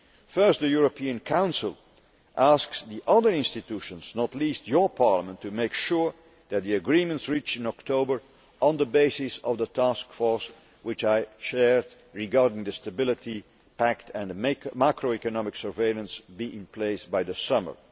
Firstly, the European Council asks the other institutions, not least your Parliament, to make sure that the agreements reached in October, on the basis of the Task Force which I chaired, regarding the Stability Pact and macro economic surveillance, are in place by the summer.